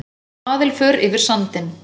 Svaðilför yfir sandinn